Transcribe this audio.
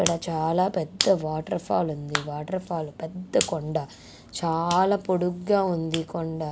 ఇక్కడ చాలా పెద్ద వాటర్ ఫాల్ ఉంది. వాటర్ ఫాల్ పెద్ద కొండ చాలా పొడుగ్గా ఉంది. ఈ కొండ.